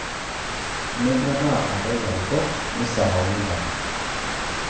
Neminyoraa ake elelero misarauni intae